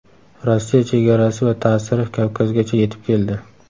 Rossiya chegarasi va ta’siri Kavkazgacha yetib keldi.